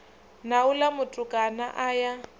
na uḽa mutukana a ya